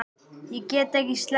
Ég get ekki sleppt því.